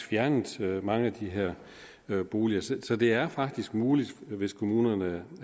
fjernet mange af de her boliger så så det er faktisk muligt hvis kommunerne